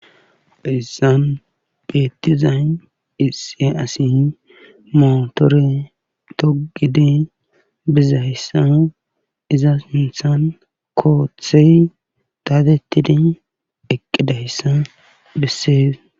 Heyssan beettizay issi asi mootore toggidi bizayssa iza sinthan koothey dadettidi eqqidayssa bessee.